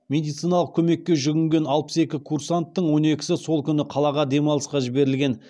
медициналық көмекке жүгінген алпыс екі курсанттың он екісі сол күні қалаға демалысқа жіберілген